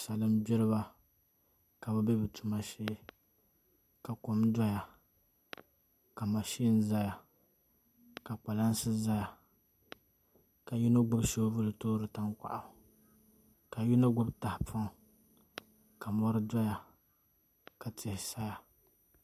Salin gbiriba ka bi bɛ bi tuma shee ka kom doya ka mashin ʒɛya ka kpalansi ʒɛya ka yino gbubi soobuli toori tankpaɣu ka yino gbuni tahapoŋ ka mori doya ka tihi saya